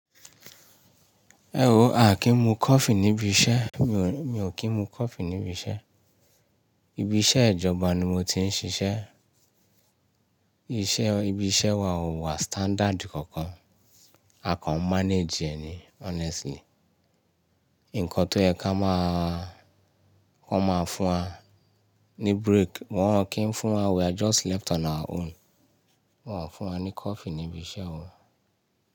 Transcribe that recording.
Ẹ wo á kí ń mu kọ́fí níbi iṣẹ́. Mi ò kí ń mu kọ́fí níbi iṣẹ́. Ibi iṣẹ́ ìjọba ni mo ti ń ṣiṣẹ́. Iṣẹ́, ibi iṣẹ́ wa ò wà standard kankan. A kàn manage ẹ ni honestly. Ǹkan tó yẹ ká máa, wọ́n máa fún wa ní break. Wọn ò kí ń fún wa, we are just left on our own. Wọn ò fún wa ní coffee ní ibi iṣẹ́ wa.